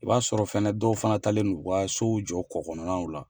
I b'a sɔrɔ fɛnɛ dɔw fana talen do u ka sow jɔ kɔ kɔnɔnaw la.